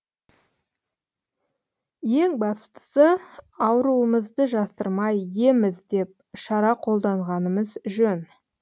ең бастысы ауруымызды жасырмай ем іздеп шара қолданғанымыз жөн